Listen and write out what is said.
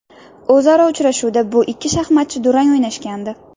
O‘zaro uchrashuvda bu ikki shaxmatchi durang o‘ynashgandi.